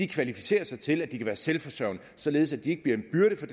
kvalificerer sig til at de kan være selvforsørgende således at de ikke bliver en byrde for